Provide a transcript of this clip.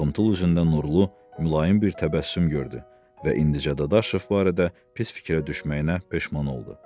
Ağımıtıl üzündə nurlu, mülayim bir təbəssüm gördü və indicə Dadaşov barədə pis fikrə düşməyinə peşman oldu.